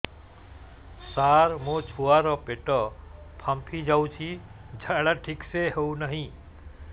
ସାର ମୋ ଛୁଆ ର ପେଟ ଫାମ୍ପି ଯାଉଛି ଝାଡା ଠିକ ସେ ହେଉନାହିଁ